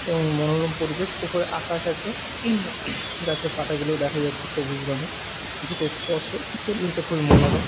এবং মনোরম পরিবেশ উপরে আকাশ আছে গাছের পাতাগুলো দেখা যাচ্ছে সবুজ রঙের যেটা স্পষ্ট পরিবেশটা খুবই মনোরম।